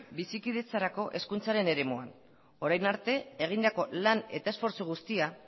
bizikidetzarako hezkuntzaren eremuan orain arte egindako lan eta esfortzu guztia